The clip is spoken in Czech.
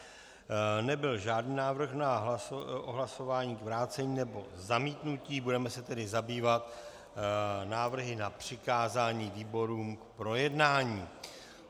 Nebyl žádný návrh na hlasování k vrácení nebo zamítnutí, budeme se tedy zabývat návrhy na přikázání výborům k projednání.